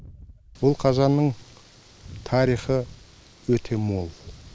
бұл қазанның тарихы өте мол